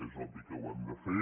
és obvi que ho hem de fer